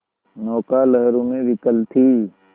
नौका लहरों में विकल थी